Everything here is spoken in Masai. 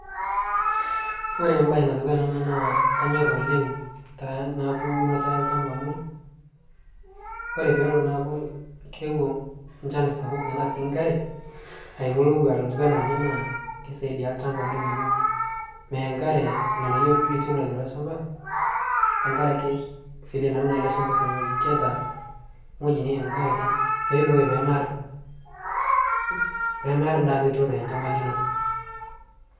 kore mbai natuwana ana naa kanyor oleng' teneaku unoto e lshampa amu kore peelo naaku keewo nchan sapuk tanaa sii nkare aimu lowaaa otuwaa ale naa lkeisaidia lshampa oleng' amu meya nkare lghanayo lituuno teilo shamba tankarake vile nauno alee shamba tene nghoji keata nghoji neim nkare peibooyo pemear, pemear ndaa nituuno te lshampa linoo